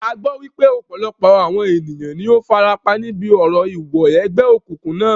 A gbọ́ wípé ọ̀pọ̀lọpọ̀ àwọn ènìyàn ní o farapa níbi orò ìwọ ẹgbẹ́ òkùnkùn náà.